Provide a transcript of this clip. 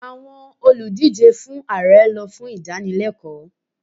Àwọn olùdíje fún Ààrẹ lọ fún ìdánilẹ́kọ̀ọ́